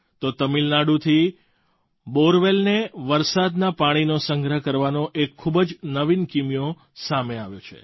તો તમિલનાડુથી બૉરવેલને વરસાદના પાણીનો સંગ્રહ કરવાનો એક ખૂબ જ નવીન કીમિયો સામે આવ્યો છે